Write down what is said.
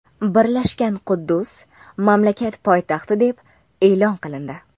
Birlashgan Quddus mamlakat poytaxti deb e’lon qilindi.